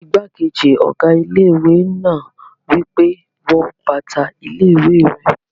Igbákejì ọ̀gá ilé-ìwé náà wí pé, "wọ bàtà ilé-ìwé rẹ!"